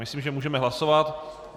Myslím, že můžeme hlasovat.